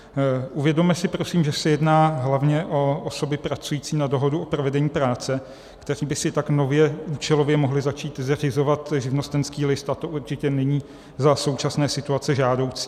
Uvědomme si prosím, že se jedná hlavně o osoby pracující na dohodu o provedení práce, které by si tak nově účelově mohly začít zařizovat živnostenský list, a to určitě není za současné situace žádoucí.